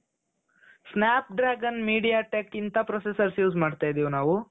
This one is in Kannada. Snap dragon media tech ಇಂತಾ processor use ಮಾಡ್ತಾ ಇದ್ದೀವಿ ನಾವು